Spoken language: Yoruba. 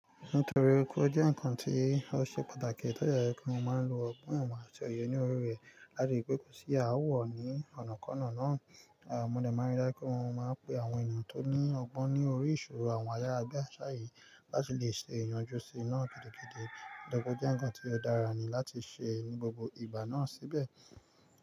Nítorí pé ó jẹ́ nkan tí ó ṣe pàtàkì tó dè jẹ́ wípé mo ma ń lo ọgbọ́n, ìmọ̀ àti òye ní orí rẹ̀ láti rí wípé kò sí aawo ní ọ̀nàkọ́nà náà. Mo dè má ń rí dájú pé mo má ń pe àwọn ènìyàn tó ní ọgbọ́n ní orí ìṣòro àwọn ayarabiàṣá yìí láti lè ṣe ìyanjú sí i náà gidigidi. Ó dè tún jẹ́ nkan tí ó dára ni láti ṣe ní gbogbo ìgbà náà síbẹ̀.